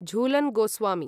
Jhulan Goswami